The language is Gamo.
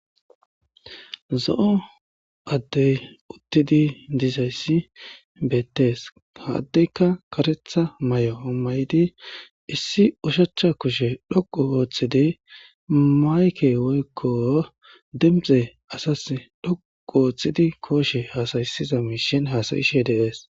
Zo'o adey uttidi dizayssi bettess ha adeykka kareththa maayo mayidi issi ushshacha kushshe doqqu oththidi mayikke woyko koshshe dhoqqu oththidi asas gaththiza mishshen hasa'ishe dess.